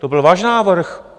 To byl váš návrh.